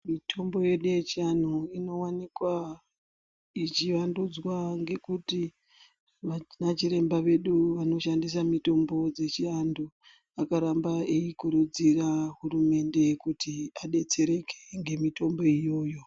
Mitombo yedu yechianhu inowanikwa ichivandudzwa ngekuti vana chiremba vedu vanoshandisa mitombo dzechiantu akaramba eikurudzira hurumende kuti adetsereke ngemitombo iyoyo.